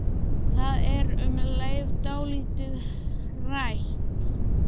Það er um leið dálítið hrætt.